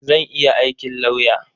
Zan iya aikin lauya.